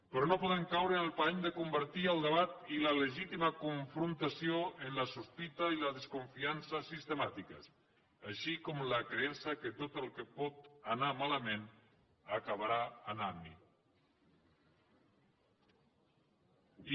però no podem caure en el parany de convertir el debat i la legítima confrontació en la sospita i la desconfiança sistemàtiques així com la creença que tot el que pot anar malament acabarà anant hi